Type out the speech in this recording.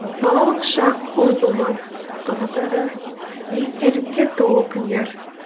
балалық шақ ұмытылмас қызықты естелікке толы күндер